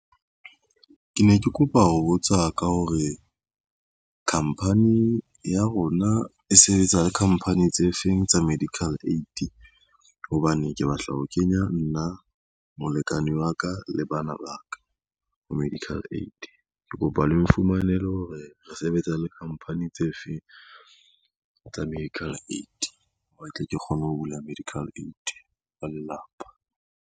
Ke ne ke kopa ho botsa ka hore, khampani ya rona e sebetsa le khamphani tse feng tsa medical aid, hobane ke batla ho kenya nna, molekane wa ka, le bana ba ka ho medical aid. Ke kopa le mfumanele hore re sebetsa le company tse feng tsa medical aid, hore tle ke kgone ho bula medical aid wa lelapa.